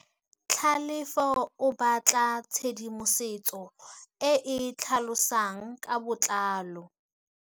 Tlhalefô o batla tshedimosetsô e e tlhalosang ka botlalô.